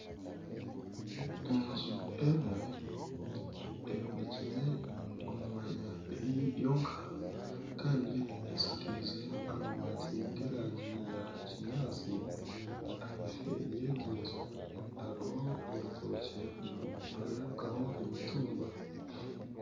Enju emwe eyombekyire omu mwanya eri yonka kandi eshakeize amabati ga erangi ya kinyaantsi ahiifo ya egi enju hariho orutookye niharebekaho emitumba.